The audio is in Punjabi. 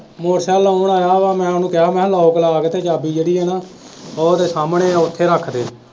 motercycle ਲਾਉਣ ਆਇਆ ਵਾ ਮੈਂ ਉਹਨੂੰ ਕਿਹਾ ਮੈਂ ਕਿਹਾ lock ਲਾ ਕੇ ਨਾ ਚਾਬੀ ਜਿਹੜੀ ਹੈ ਨਾ ਉਹ ਤੇ ਸਾਹਮਣੇ ਉੱਥੇ ਰੱਖਦੇ।